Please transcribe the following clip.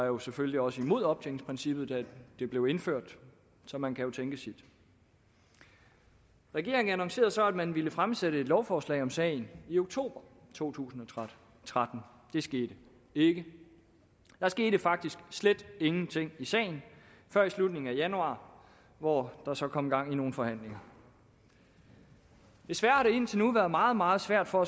var selvfølgelig også imod optjeningsprincippet da det blev indført så man kan jo tænke sit regeringen annoncerede så at den ville fremsætte et lovforslag om sagen i oktober to tusind og tretten det skete ikke der skete faktisk slet ingenting i sagen før i slutningen af januar hvor der så kom gang i nogle forhandlinger desværre har det indtil nu været meget meget svært for